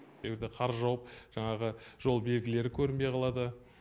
егер де қар жауып жаңағы жол белгілері көрінбей қалады